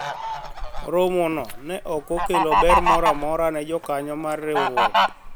romo no ne ok okelo ber moro amora ne jokanyo mar riwruok